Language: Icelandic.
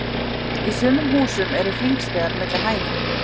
í sumum húsum eru hringstigar milli hæða